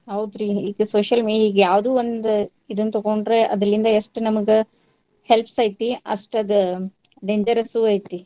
ಹೌದ್ರಿ ಈ social media ಇದ್ಯಾವ್ದು ಒಂದ್ ಇದನ್ನ ತಗೊಂಡ್ರ ಅದ್ರಲ್ಲಿಂದ್ ಎಷ್ಟ್ ನಮಗ helps ಐತಿ ಅಷ್ಟದ್ dangerous ಐತಿ.